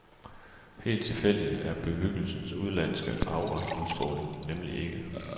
Helt tilfældig er bebyggelsens udenlandske auraudstråling nemlig ikke.